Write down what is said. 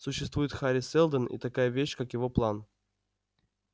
существует хари сэлдон и такая вещь как его план